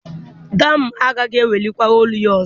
Dami agaghị ewelikwa olu ya ọzọ.